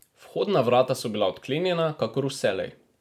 Vhodna vrata so bila odklenjena, kakor vselej.